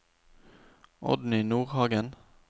Oddny Nordhagen